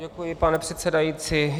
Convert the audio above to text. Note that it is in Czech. Děkuji, pane předsedající.